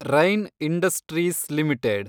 rain Industries limited